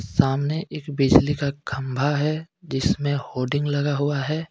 सामने एक बिजली का खंभा है जिसमें होर्डिंग लगा हुआ है.